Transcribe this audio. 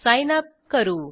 sign up करू